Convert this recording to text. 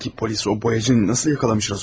Peki polis o boyacıyı nasıl yaxalamış, Razu?